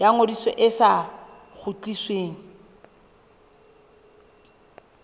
ya ngodiso e sa kgutlisweng